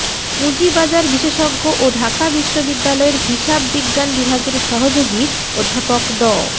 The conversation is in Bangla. পুঁজিবাজার বিশেষজ্ঞ ও ঢাকা বিশ্ববিদ্যালয়ের হিসাব বিজ্ঞান বিভাগের সহযোগী অধ্যাপক ড